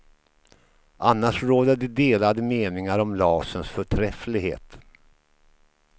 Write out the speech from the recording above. Annars råder det delade meningar om laserns förträfflighet.